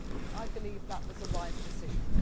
I believe that was a wise decision.